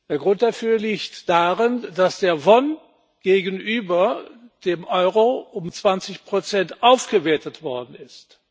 Der Grund dafür liegt darin, dass der Won gegenüber dem Euro um 20 aufgewertet worden ist.